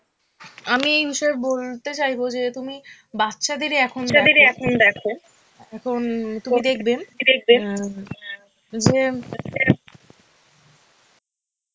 আমি এই বিষয়ে বলতে চাইবো যে তুমি বাচ্চাদেরই এখন বাচ্চাদেরই এখন দেখো, এখন তুমি দেখবে অ্যাঁ যে,